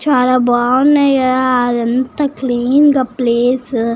చాల బాగునది కదా అదంతా క్లీన్ గ ప్లేస్ --